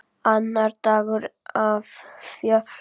Annar dagur af fjórum.